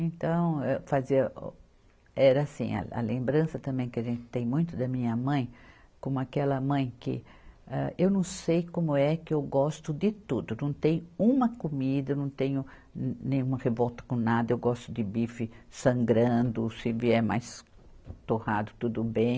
Então, eh, fazia o, era assim, a, a lembrança também que a gente tem muito da minha mãe, como aquela mãe que, âh, eu não sei como é que eu gosto de tudo, não tem uma comida, não tenho nenhuma revolta com nada, eu gosto de bife sangrando, se vier mais torrado, tudo bem.